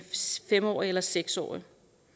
fem årig eller seks årig